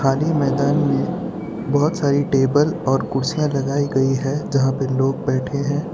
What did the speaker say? खाली मैदान में बहोत सारी टेबल और कुर्सियां लगाई गई है जहां पे लोग बैठे हैं।